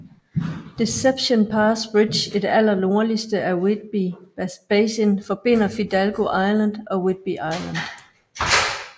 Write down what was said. Deception Pass Bridge i det aller nordligste af Whidbey Basin forbinder Fidalgo Island og Whidbey Island